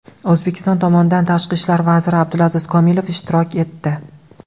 O‘zbekiston tomonidan tashqi ishlar vaziri Abdulaziz Komilov ishtirok etdi.